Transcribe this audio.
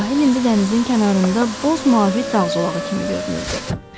Sahil indilə dənizin kənarında boz mavi dağ zolağı kimi görünürdü.